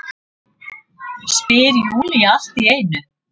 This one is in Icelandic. spyr Júlía allt í einu.